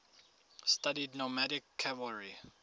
studied nomadic cavalry